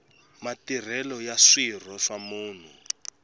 matirhelo ya swirho swa munhu